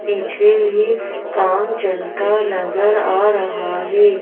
पीछे भी काम चलता नजर आ रहा है।